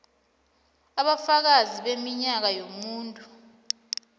bufakazi beminyaka yomuntu